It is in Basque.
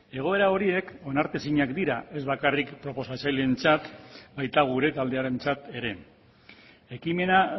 egoera horiek onartezinak dira ez bakarrik proposatzaileentzat baita gure taldearentzat ere ekimena